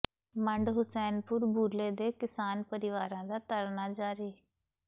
ਮੰਡ ਹੁਸੈਨਪੁਰ ਬੂਲੇ ਦੇ ਕਿਸਾਨ ਪਰਿਵਾਰਾਂ ਦਾ ਧਰਨਾ ਜਾਰੀ